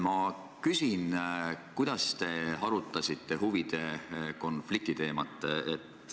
Ma küsin, kuidas te arutasite huvide konflikti teemat.